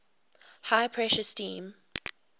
high pressure steam